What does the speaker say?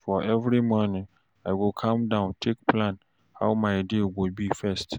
for morning I go calm down take plan how my day go be first